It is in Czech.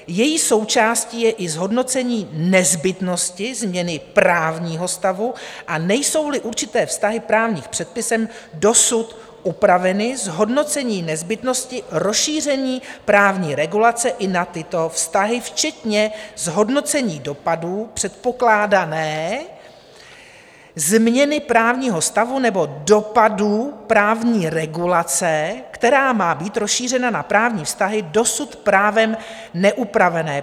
Její součástí je i zhodnocení nezbytnosti změny právního stavu, a nejsou-li určité vztahy právním předpisem dosud upraveny, zhodnocení nezbytnosti rozšíření právní regulace i na tyto vztahy, včetně zhodnocení dopadů předpokládané změny právního stavu nebo dopadů právní regulace, která má být rozšířena na právní vztahy dosud právem neupravené.